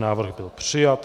Návrh byl přijat.